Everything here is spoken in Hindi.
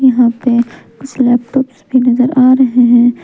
यहां पे कुछ लैपटॉप्स भी नजर आ रहे हैं।